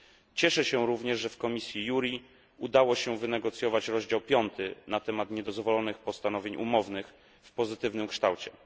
Cieszę się również, że w komisji JURI udało się wynegocjować rozdział piąty na temat niedozwolonych postanowień umownych w pozytywnym kształcie.